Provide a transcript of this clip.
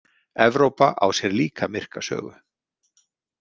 Evrópa á sér líka myrka sögu.